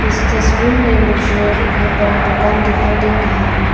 इस तस्वीर में मुझे एक बहुत बड़ा दुकान दिखाई दे रहा है।